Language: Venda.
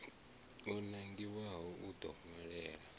o nangiwaho u ḓo ṅwalela